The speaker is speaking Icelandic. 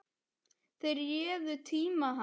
Þeir réðu tíma hans.